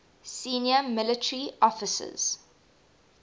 senior military officers